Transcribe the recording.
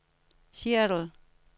Seattle